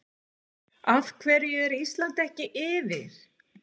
AF HVERJU ER ÍSLAND EKKI YFIR????